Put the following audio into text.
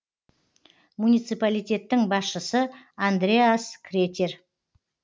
муниципалитеттің басшысы андреас кретер